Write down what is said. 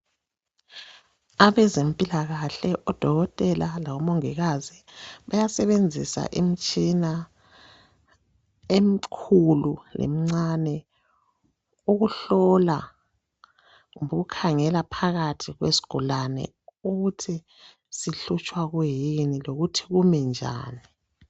abezempilakahle o dokotela labo mongikazi bayasebenzisa imtshina emkhulu lemncane ukuhlola kumbe ukukhangela phakathi kwesigulane ukuthi sihlutshwa kuyini lokuthi kumi njani